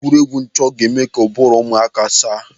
Egwuregwu nchọ ga-eme ka ụbụrụ ụmụaka saa.